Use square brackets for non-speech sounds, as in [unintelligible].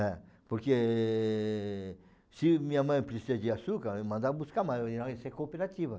É, porque se minha mãe precisa de açúcar, eu mandava buscar mais, [unintelligible] e ser cooperativa.